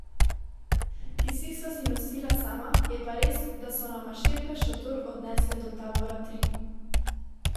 Kisik sva si nosila sama, je pa res, da so nama šerpe šotor odnesle do tabora tri.